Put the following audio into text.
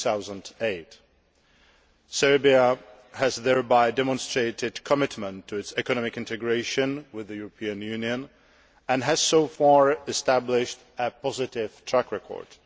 2008. Serbia has thereby demonstrated a commitment to its economic integration with the European Union and has so far established a positive track record.